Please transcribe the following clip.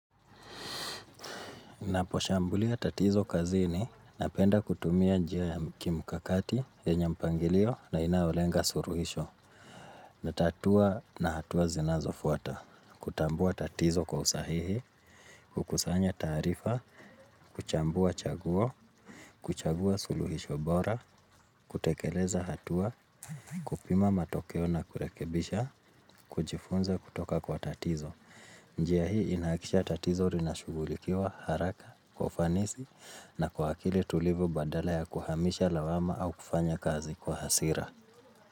Naposhambulia tatizo kazini na penda kutumia njia ya kimkakati ye nyempangilio na inayolenga suruhisho. Natatua na hatua zinazo fuata. Kutambua tatizo kwa usahihi, kukusanya taarifa, kuchambua chaguo, kuchagua suluhisho bora, kutekeleza hatua, kupima matokeo na kurekebisha, kujifunza kutoka kwa tatizo. Njia hii inakisha tatizoli na shughulikiwa haraka, kwaufanisi na kwa akili tulivu badala ya kuhamisha lawama au kufanya kazi kwa hasira.